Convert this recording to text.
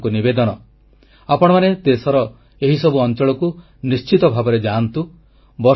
ମୋର ଆପଣମାନଙ୍କୁ ନିବେଦନ ଆପଣମାନେ ଦେଶର ଏହିସବୁ ଅଂଚଳକୁ ନିଶ୍ଚିତ ଭାବେ ଯାଆନ୍ତୁ